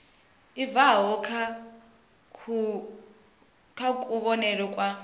i bvaho kha kuvhonele kwa